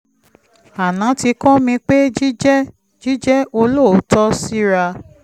aná ti kọ́ mi pé jíjẹ́ jíjẹ́ olóòótọ́ síra